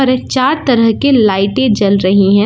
चार तरह के लाईटें जल रही है।